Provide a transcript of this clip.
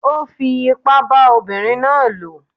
Ó fi ipá bá ọmọbìnrin náà lò.